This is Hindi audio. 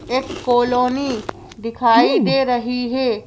एक कोलोनी दिखाई दे रही है।